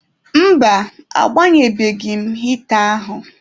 Mba, agbanyebeghị m hịta ahụ.